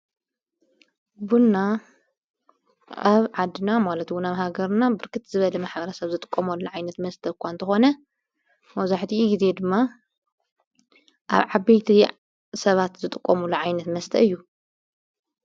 ቡንና ኣብ ዓድና ማለትውና ብሃገርና ብርክት ዝበደመ ኅብረ ሰብ ዝጥቆሞሉሎ ዓይነት መስተ እኳ እንተኾነ መዙሕቲ ጊዜ ድማ ኣብ ዓቢልቲዕ ሰባት ዝጥቆሙሉ ዓይነት መስጠእ እዩ።